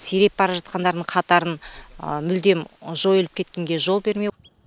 сиреп бара жатқандардың қатарын мүлдем жойылып кеткенге жол бермеу